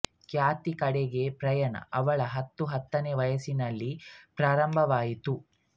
ಖ್ಯಾತಿಯ ಕಡೆಗೆ ಪಯಣ ಅವಳ ಹತ್ತು ಹತ್ತನೆಯ ವಯಸ್ಸಿನಲ್ಲಿ ಪ್ರಾರಂಭವಾಯಿತು